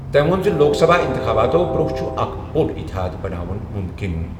تٔمۍ ووٚن زِ لوک سبھا اِنتِخابات برٛونٛہہ چھُ اکھ بوٚڑ اتحاد بناوُن مُمکِن۔